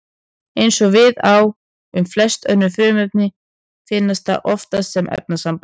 Eins og við á um flest önnur frumefni finnst það oftast sem efnasamband.